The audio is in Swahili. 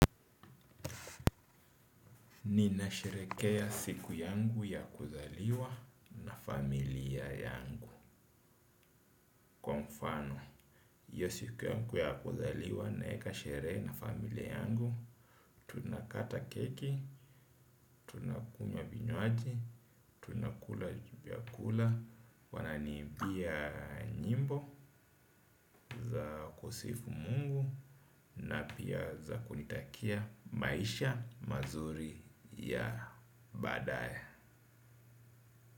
Ninasherekea siku yangu ya kuzaliwa na familia yangu. Kwa mfano, iyo siku yangu ya kuzaliwa naeka sherehe na familia yangu. Tunakata keki, tunakunywa vinywaji, tunakula vyakula. Wananiibia nyimbo za kusifu mungu na pia za kunitakia maisha mazuri ya badae.